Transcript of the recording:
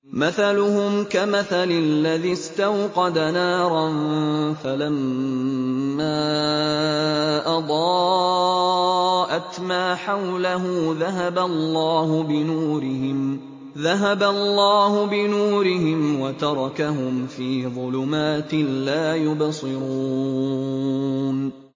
مَثَلُهُمْ كَمَثَلِ الَّذِي اسْتَوْقَدَ نَارًا فَلَمَّا أَضَاءَتْ مَا حَوْلَهُ ذَهَبَ اللَّهُ بِنُورِهِمْ وَتَرَكَهُمْ فِي ظُلُمَاتٍ لَّا يُبْصِرُونَ